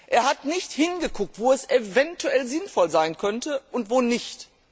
Er hat nicht hingesehen, wo es eventuell sinnvoll sein könnte und wo nicht.